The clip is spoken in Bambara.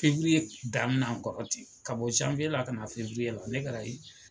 daminɛ an kɔrɔ ,k a bɔ la ka na la ne ka